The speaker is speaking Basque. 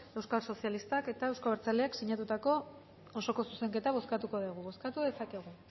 euskal sozialistak eta euzko abertzaleak sinatutako osoko zuzenketa bozkatuko dugu bozkatu dezakegu